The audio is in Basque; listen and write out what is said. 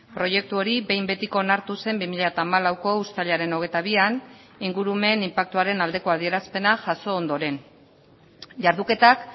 proiektu hori behin betiko onartu zen bi mila hamalauko uztailaren hogeita bian ingurumen inpaktuaren aldeko adierazpena jaso ondoren jarduketak